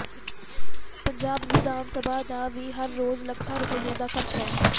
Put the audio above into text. ਪੰਜਾਬ ਵਿਧਾਨ ਸਭਾ ਦਾ ਵੀ ਹਰ ਰੋਜ਼ ਲੱਖਾਂ ਰੁਪਏ ਦਾ ਖਰਚ ਹੈ